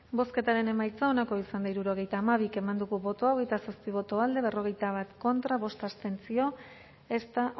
bozketaren emaitza onako izan da hirurogeita hamabi eman dugu bozka hogeita zazpi boto alde berrogeita bat contra bost abstentzio ez da